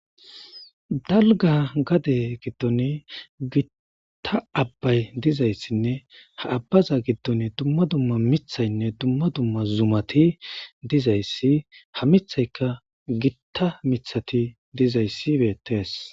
dalga gade giddoni gitta abbay dizayssinne ha abbaza giddon dumma dumma mithaynne dumma dumma zumati dizayssi ha mithayka gitta mithati dizayssi beettees